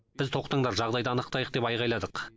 біз тоқтыңдар жағдайды анықтайық деп айқайладық